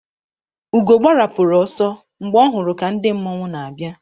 Ugo gbarapụrụ ọsọ mgbe ọ hụrụ ka ndị mmọnwụ n'abịa.